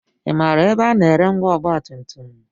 I maara ebe a na-ere ngwa ọgbatumtum?